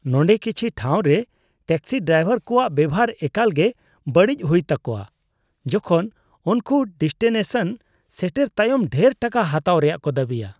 ᱱᱚᱸᱰᱮ ᱠᱤᱪᱷᱤ ᱴᱷᱟᱶ ᱨᱮ ᱴᱮᱠᱥᱤ ᱰᱟᱭᱵᱚᱨ ᱠᱚᱣᱟᱜ ᱵᱮᱣᱦᱟᱨ ᱮᱠᱟᱞᱜᱮ ᱵᱟᱹᱲᱤᱡ ᱦᱩᱩᱭᱜ ᱛᱟᱠᱚᱣᱟ ᱡᱚᱠᱷᱚᱱ ᱩᱱᱠᱩ ᱰᱮᱥᱴᱤᱱᱮᱥᱚᱱ ᱥᱮᱴᱮᱨ ᱛᱟᱭᱚᱢ ᱰᱷᱮᱨ ᱴᱟᱠᱟ ᱦᱟᱛᱟᱣ ᱨᱮᱭᱟᱜ ᱠᱚ ᱫᱟᱹᱵᱤᱭᱟ ᱾